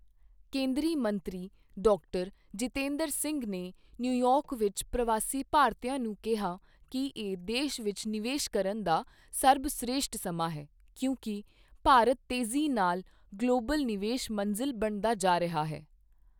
ਕੇਂਦਰੀ ਮੰਤਰੀ ਡਾ. ਜਿਤੇਂਦਰ ਸਿੰਘ ਨੇ ਨਿਊਯਾਰਕ ਵਿੱਚ ਪ੍ਰਵਾਸੀ ਭਾਰਤੀਆਂ ਨੂੰ ਕਿਹਾ ਕਿ ਇਹ ਦੇਸ਼ ਵਿੱਚ ਨਿਵੇਸ਼ ਕਰਨ ਦਾ ਸਰਬਸ਼੍ਰੇਸ਼ਠ ਸਮਾਂ ਹੈ, ਕਿਉਂਕਿ ਭਾਰਤ ਤੇਜ਼ੀ ਨਾਲ ਗਲੋਬਲ ਨਿਵੇਸ਼ ਮੰਜ਼ਿਲ ਬਣਦਾ ਜਾ ਰਿਹਾ ਹੈ